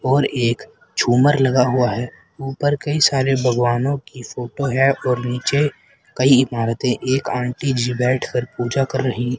और एक झुमर लगा हुआ है ऊपर कई सारे भगवानों की फोटो है और नीचे कई इमारते एक आंटी नीचे बैठ कर पूजा कर रही--